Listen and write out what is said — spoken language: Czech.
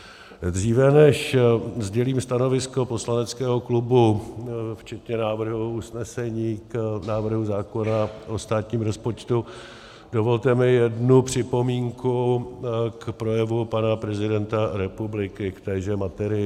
Dříve než sdělím stanovisko poslaneckého klubu včetně návrhu usnesení k návrhu zákona o státním rozpočtu, dovolte mi jednu připomínku k projevu pana prezidenta republiky k téže materii.